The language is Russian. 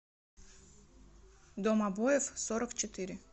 дом обоев сорок четыре